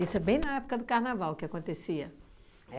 Isso é bem na época do carnaval que acontecia.